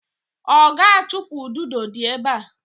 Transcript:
Oga achupu ududo di ebe a.